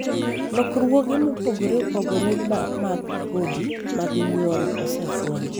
lokruoge mopogore opogore mag kodhi mag nyuol osefweny